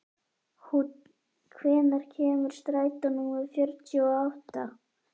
Húnn, hvenær kemur strætó númer fjörutíu og átta?